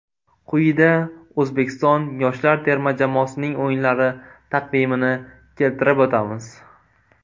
Quyida O‘zbekiston yoshlar terma jamoasining o‘yinlari taqvimini keltirib o‘tamiz.